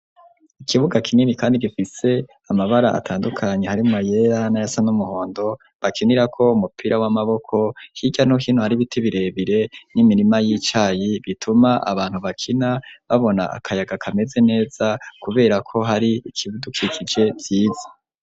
Ikibuga kinini kandi gifise amabara atandukanye, harimwo ayera n'ayasa n'umuhondo, bakinirako umupira w'amaboko, hirya no hino hari ibiti birebire n'imirima y'icayi, bituma abantu bakina babona akayaga kameze neza, kubera ko hari ibidukikije vyiza.